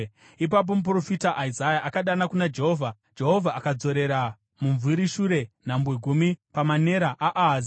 Ipapo muprofita Isaya akadana kuna Jehovha, Jehovha akadzorera mumvuri shure nhambwe gumi pamanera aAhazi.